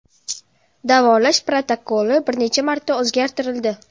Davolash protokoli bir necha marta o‘zgartirildi.